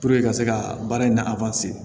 ka se ka baara in